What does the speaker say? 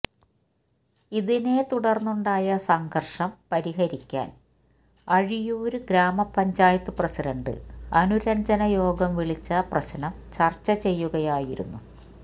ഇതിനെതുടര്ന്നുണ്ടായ സംഘര്ഷം പരിഹരിക്കാന് അഴിയൂര് ഗ്രാമപഞ്ചായത്ത് പ്രസിഡന്റ് അനുരജ്ഞന യോഗം വിളിച്ച പ്രശനം ചര്ച്ച ചെയ്യുകയായിരുന്നു